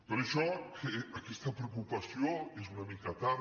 per això que aquesta preocupació és una mica tard